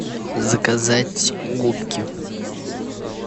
заказать губки